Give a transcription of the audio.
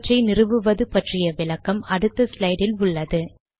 அவற்றை நிறுவுவது பற்றிய விளக்கம் அடுத்த ஸ்லைடு இல் உள்ளது